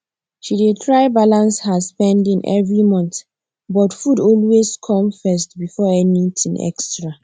she dey try balance her spending every month but food always come first before anything extra